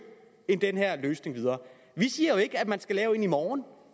den her løsning videre vi siger jo ikke at man skal lave en i morgen